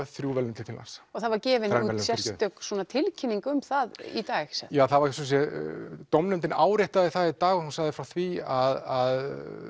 þrír verðlaun til Finnlands og það var gefin út sérstök svona tilkynning um það í dag ekki satt jú dómnefndin áréttaði það í dag er hún sagði frá því að